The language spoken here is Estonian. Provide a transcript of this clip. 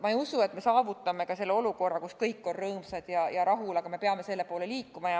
Ma ei usu ka seda, et me saavutame sellise olukorra, kus kõik on rõõmsad ja rahul, aga me peame selle poole liikuma.